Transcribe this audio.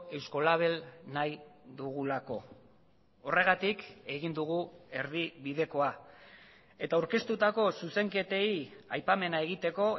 eusko label nahi dugulako horregatik egin dugu erdibidekoa eta aurkeztutako zuzenketei aipamena egiteko